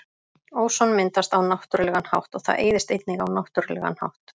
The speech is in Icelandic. Óson myndast á náttúrulegan hátt og það eyðist einnig á náttúrulegan hátt.